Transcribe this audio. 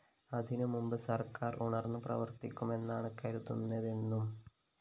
അതിനു മുന്‍പ് സര്‍ക്കാര്‍ ഉണര്‍ന്നു പ്രവര്‍ത്തിക്കുമെന്നാണ് കരുതുന്നതെന്നും വി